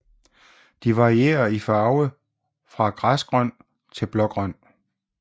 De varierer i farve fra græsgrøn til blågrøn